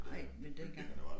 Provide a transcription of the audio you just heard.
Nej men dengang